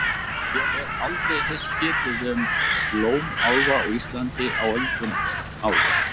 Ég hef aldrei heyrt getið um blómálfa á Íslandi á öldum áður.